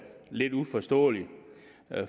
lidt uforståeligt